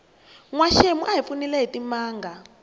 nwaxemu a hi pfunile hitimanga